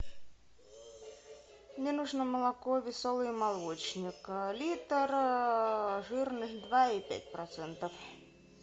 мне нужно молоко веселый молочник литр жирность два и пять процентов